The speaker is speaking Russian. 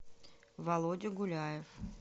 володя гуляев